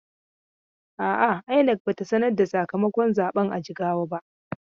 A'a, INEC ba ta sanar da sakamakon zaben a Jigawa ba.